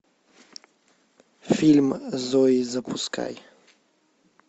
фильм зои запускай